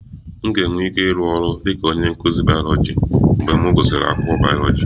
M ga-enwe ike ịrụ ọrụ dị ka onye nkụzi bayoloji mgbe m gụsịrị akwụkwọ bayoloji